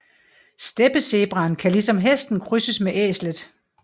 Steppezebraen kan ligesom hesten krydses med æslet